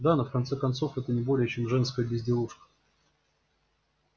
да но в конце концов это не более чем женская безделушка